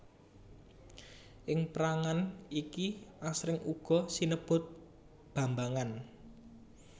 Ing pérangan iki asring uga sinebut bambangan